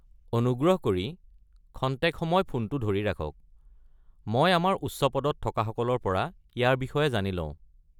অনুগ্ৰহ কৰি খন্তেক সময় ফোনটো ধৰি ৰাখক। মই আমাৰ উচ্চপদত থকাসকলৰ পৰা ইয়াৰ বিষয়ে জানি লওঁ।